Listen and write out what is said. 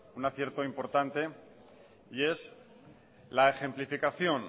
un acierto importante que es la ejemplificación